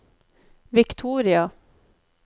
Victoria